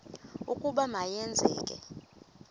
ukuba ma yenzeke